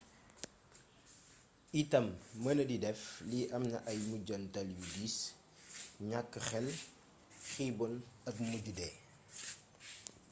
itam mënadi dëf li amna ay mujjantal yu diis ñakk xel xiibon ak mujje dee